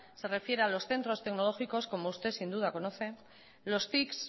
se refiere a los centros tecnológicos como usted sin duda conoce los tics